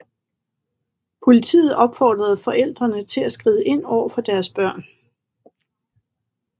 Politiet opfordrede forældrene til at skride ind over for deres børn